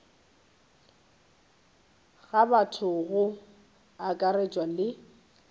ga batho go akaretšwa le